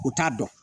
U t'a dɔn